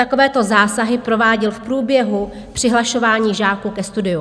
Takovéto zásahy prováděl v průběhu přihlašování žáků ke studiu.